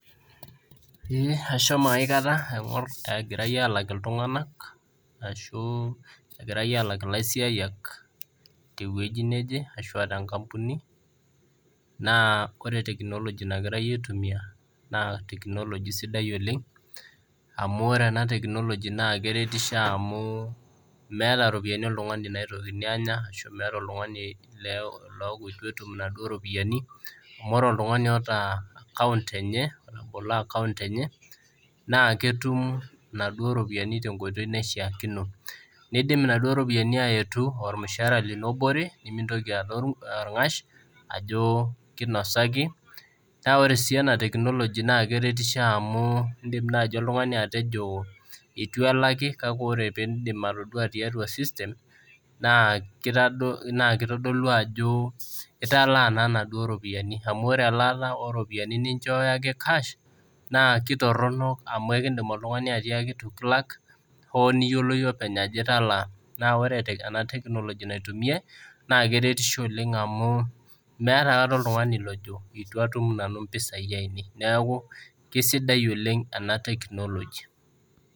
Ashomo aikata aing'or egirai arawaki ltunganak ashu egirai aalak lasiayak teweji neje ashu aa tenkampuni, naa kore teknoloji nagirai aitumiya naa teknoloji sidai oleng amuu ore ena teknoloji naa keretisho amuu meata eropiyiani oltungani naitokini aanya ashu meata oltungani leaku eitu etum naduo iropiyiani, amu ore oltungani oota akaunt enye, otobolo akaunt enye naa ketum naduo iropiyiani te nkoitoi naishaakuno, neidim enaduo iropiyiani aetu olmushaara lino obore nimintoki aata olng'ash ajo keinosaki, naa ore sii ena teknoloji naa keretisho amuu indim naaji oltunmgani atejo, etiu elaki kake ore piindim atodua tiatua system, naa keitodolu ajoo italaa naa enaduo iropiyiani amuu ore elaata oo iropiyiani naa ininchooyo ake cash naa ketorono amu ekiindim oltungani atiaki eitu kilak oo niyiolo iyie openy ajo italaa, naa ore ena teknolojia naitumiyai naa keretisho oleng amuu meata naaduo oltungani lojo atu atum nanu impisai ainei, neaku kesidai oleng ena teknoloji.